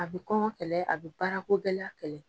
A bɛ kɔngɔ kɛlɛ, a bɛ baarako gɛlɛya kɛlɛ.